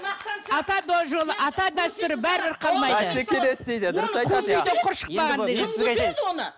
мақтаншақ ата да жолы ата дәстүр бәрібір қалмайды